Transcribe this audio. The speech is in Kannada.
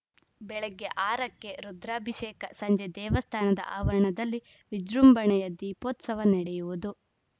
ಬೆಳಗ್ಗೆ ಆರ ಕ್ಕೆ ರುದ್ರಾಭಿಷೇಕ ಸಂಜೆ ದೇವಸ್ಥಾನದ ಆವರಣದಲ್ಲಿ ವಿಜೃಂಭಣೆಯ ದೀಪೋತ್ಸವ ನಡೆಯುವುದು